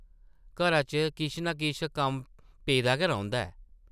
घरा च किश ना किश कम्म पेदा गै रौंह्दा ऐ ।